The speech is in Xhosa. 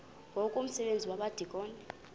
ngoku umsebenzi wabadikoni